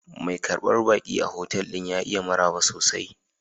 Mai karbar baki a otal ɗin ya iya maraba sosai.